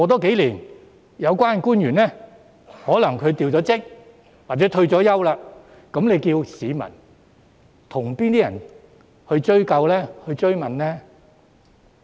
數年後，有關官員可能已調職或退休，屆時市民可以向甚麼人追究、追問呢？